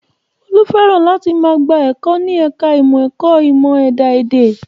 Olú fẹ́ràn láti máa gba ẹ̀kọ́ ní ẹ̀ka ìmọ̀ ẹ̀kọ́ ìmọ̀ ẹ̀dá èdè